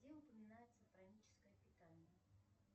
где упоминается праническое питание